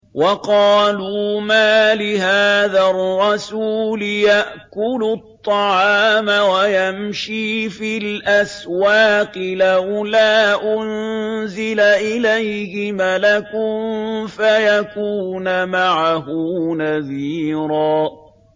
وَقَالُوا مَالِ هَٰذَا الرَّسُولِ يَأْكُلُ الطَّعَامَ وَيَمْشِي فِي الْأَسْوَاقِ ۙ لَوْلَا أُنزِلَ إِلَيْهِ مَلَكٌ فَيَكُونَ مَعَهُ نَذِيرًا